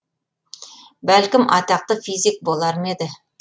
бәлкім атақты физик болар ма еді